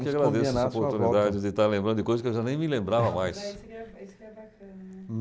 Eu que agradeço essa oportunidades de estar lembrando de coisas que eu já nem me lembrava mais. Isso que é bacana, né.